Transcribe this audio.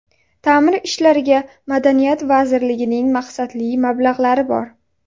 Ta’mir ishlariga Madaniyat vazirligining maqsadli mablag‘lari bor...